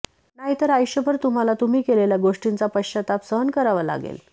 नाहीतर आयुष्यभर तुम्हाला तुम्ही केलेल्या गोष्टींचा पश्चाताप सहन करावा लागेल